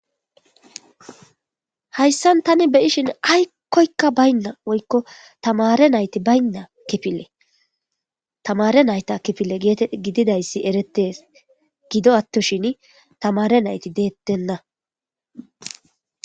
hayssan tani beyishin aykkoykka baynna woykko tamare nayti baynna kifile tamare nayta kifile gididayssi eretes gido attoshin tamare nayti deettenna